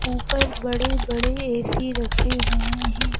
ऊपर बड़े-बड़े ए_सी रखे हुए हैं।